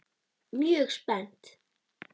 Mjög spennt.